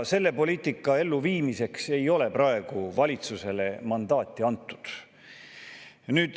Selle poliitika elluviimiseks ei ole valitsusele mandaati antud.